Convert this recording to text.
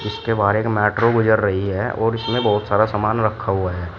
के बाहर एक मेट्रो गुजर रही है और इसमें बहुत सारा सामान रखा हुआ है।